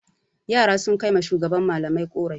Yara sun kai wa shugaban malamai ƙorafi.